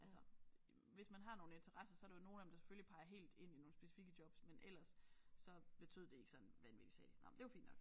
Altså hvis man har nogle interesser så er der jo nogle af dem der selvfølgelig peger helt ind i nogle specifikke jobs men ellers så betød det ikke sådan vanvittigt sagde de nåh men det er jo fint nok